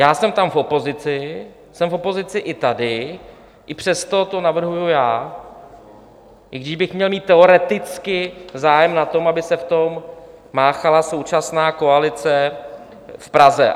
Já jsem tam v opozici, jsem v opozici i tady, i přesto to navrhuji já, i když bych měl mít teoreticky zájem na tom, aby se v tom máchala současná koalice v Praze.